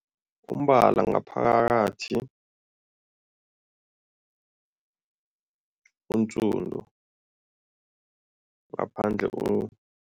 Umbala ngaphakathi ngaphandle